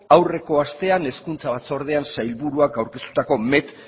aurreko astean hezkuntza batzordean sailburuak aurkeztutako met